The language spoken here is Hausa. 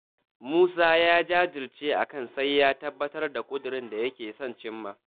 Musa ya jajirce akan sai ya tabbatar da ƙudurin da yake son cimma.